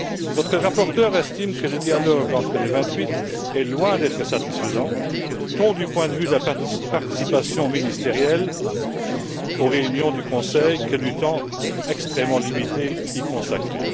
Notre rapporteur estime que le dialogue entre les vingt huit est loin d'être satisfaisant, tant du point de vue de la participation ministérielle aux réunions du Conseil que du temps extrêmement limité qui lui est consacré.